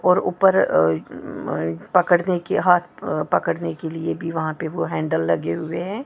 और ऊपर अ अ पकड़ने के हाथ अ पकड़ने के लिए भी वहां पे वो हैंडल लगे हुए हैं।